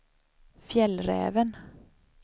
Fjällräven